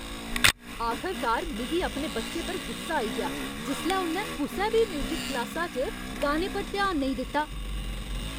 आखरकार मिगी अपने बच्चे पर गुस्सा आई गेआ जिसलै उ'न्नै कुसै बी म्यूजिक क्लासा च गाने पर ध्यान नेईं दित्ता।